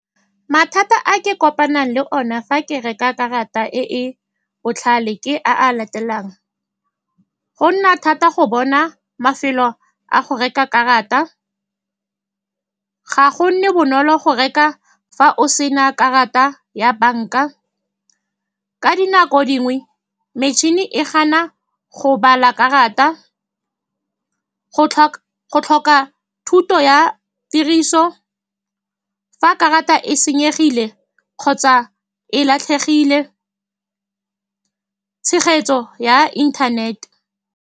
Mathata a ke kopanang le one fa ke reka karata e e botlhale ke a a latelang, go nna thata go bona mafelo a go reka karata, ga go nne bonolo go reka fa o sena karata ya banka, ka dinako dingwe metšhini e gana go bala karata, go go tlhoka thuto ya tiriso, fa karata e senyegile kgotsa e latlhegile, tshegetso ya internet-e.